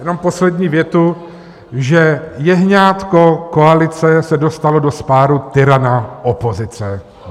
Jenom poslední větu, že jehňátko koalice se dostalo do spárů tyrana opozice.